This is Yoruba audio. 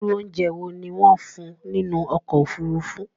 ìrù óùnjẹ wọ ní wón fún ní nínú okò òfurufú?